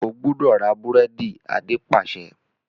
O gbúdọ̀ ra búrẹ́dì! Adé pàṣẹ.